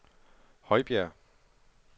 Højbjerg